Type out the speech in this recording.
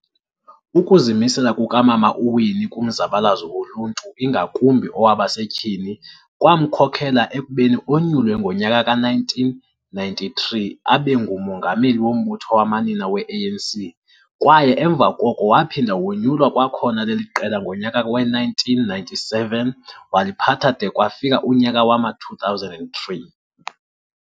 Ukuzimisela kukamama uWinne kumzabalazo woluntu ingakumbi owabasetyhini, kwamkhokhela ekubeni onyulwe ngonyaka ka-1993 abengumongameli wombutho wamanina we-ANC kwaye emva koko waphinda wonyulwa kwakhona leliqela ngonyaka we-1997 waliphatha de kwafika unyaka wama-2003.